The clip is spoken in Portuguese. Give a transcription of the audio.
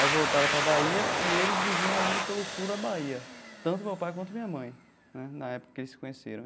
Aí voltaram para a Bahia e eles viviam ali pelo sul da Bahia, tanto meu pai quanto minha mãe né, na época que eles se conheceram.